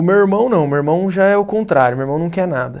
O meu irmão não, meu irmão já é o contrário, meu irmão não quer nada.